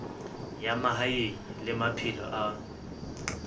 ya mahaeng le maphelo a